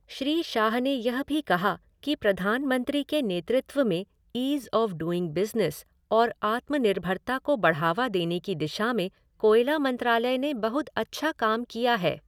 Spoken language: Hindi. श्री शाह ने यह भी कहा कि प्रधानमंत्री के नेतृत्व में ईज़ आफ़ डूइंग बिज़नेस और आत्मनिर्भरता को बढ़ावा देने की दिशा में कोयला मंत्रालय ने बहुत अच्छा काम किया है।